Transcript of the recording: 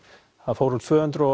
það fór úr tvö hundruð